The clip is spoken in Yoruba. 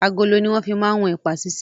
Agolo ni wọn fi máa ń wọn ẹ̀pà sise.